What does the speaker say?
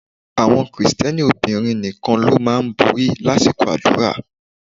Àwọn Krìsìtẹ́nì obìnrin nìkan ló máa ń borí lásìkò àdúrà